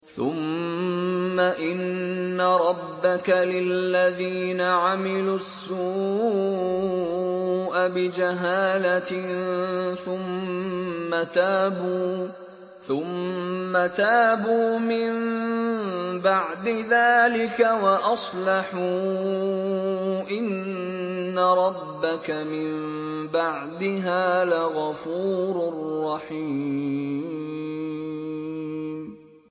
ثُمَّ إِنَّ رَبَّكَ لِلَّذِينَ عَمِلُوا السُّوءَ بِجَهَالَةٍ ثُمَّ تَابُوا مِن بَعْدِ ذَٰلِكَ وَأَصْلَحُوا إِنَّ رَبَّكَ مِن بَعْدِهَا لَغَفُورٌ رَّحِيمٌ